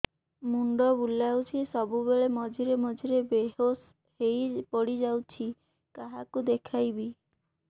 ମୁଣ୍ଡ ବୁଲାଉଛି ସବୁବେଳେ ମଝିରେ ମଝିରେ ବେହୋସ ହେଇ ପଡିଯାଉଛି କାହାକୁ ଦେଖେଇବି